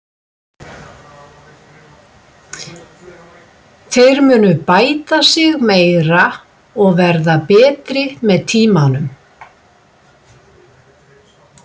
Þeir munu bæta sig meira og verða betri með tímanum.